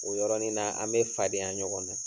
O yɔrɔnin na, an be fadenya ɲɔgɔn na.